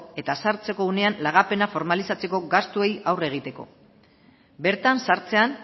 eta sartzeko unean lagapena formalizatzeko gastuei aurre egiteko bertan sartzean